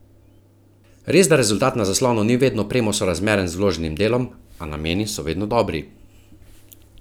Resda rezultat na zaslonu ni vedno premo sorazmeren z vloženim delom, a nameni so vedno dobri.